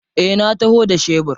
Eh na taho da shebur.